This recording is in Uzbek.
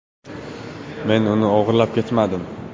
“Men uni o‘g‘irlab ketmadim.